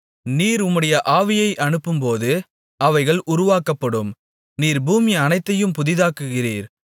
நீர் உம்முடைய ஆவியை அனுப்பும்போது அவைகள் உருவாக்கப்படும் நீர் பூமி அனைத்தையும் புதிதாக்குகிறீர்